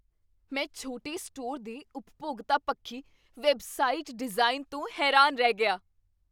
ਮੈਂ ਛੋਟੇ ਸਟੋਰ ਦੇ ਉਪਭੋਗਤਾ ਪੱਖੀ ਵੈੱਬਸਾਈਟ ਡਿਜ਼ਾਈਨ ਤੋਂ ਹੈਰਾਨ ਰਹਿ ਗਿਆ